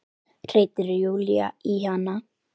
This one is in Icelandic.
hreytir Júlía í hana.